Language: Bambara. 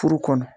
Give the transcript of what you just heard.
Furu kɔnɔ